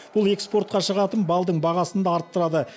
бұл экспортқа шығатын балдың бағасын да арттырады